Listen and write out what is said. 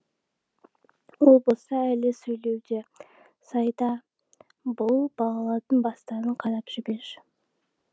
ол болса әлі сөйлеуде сайда бұл балалардың бастарын қарап жіберші